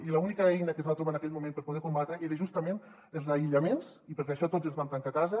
i l’única eina que es va trobar en aquell moment per poder ho combatre eren justament els aïllaments i per això tots ens vam tancar a casa